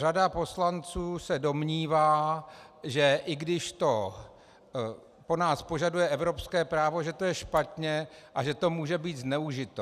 Řada poslanců se domnívá, že i když to po nás požaduje evropské právo, že to je špatně a že to může být zneužito.